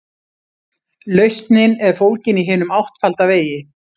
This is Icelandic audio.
Lausnin er fólgin í hinum áttfalda vegi.